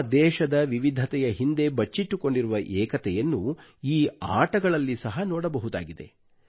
ನಮ್ಮ ದೇಶದ ವಿವಿಧತೆಯ ಹಿಂದೆ ಬಚ್ಚಿಟ್ಟುಕೊಂಡಿರುವ ಏಕತೆಯನ್ನು ಈ ಆಟಗಳಲ್ಲಿ ಸಹ ನೋಡಬಹುದಾಗಿದೆ